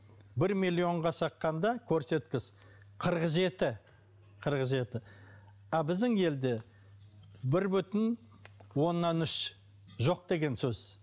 бір миллионға щаққанда көрсеткіш қырық жеті қырық жеті а біздің елде бір бүтін онан үш жоқ деген сөз